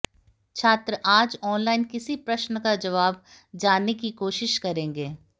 छात्र आज ऑनलाइन किसी प्रश्न का जबाब जानने की कोशिश करेंगे